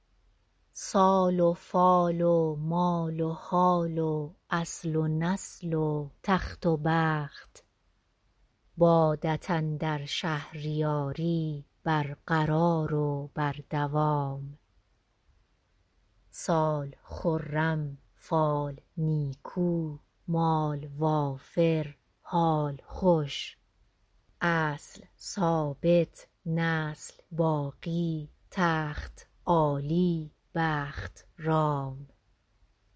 سال و فال و مال و حال و اصل و نسل و تخت و بخت بادت اندر شهریاری برقرار و بر دوام سال خرم فال نیکو مال وافر حال خوش اصل ثابت نسل باقی تخت عالی بخت رام